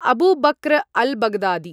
Abu Bakr al-Baghdadi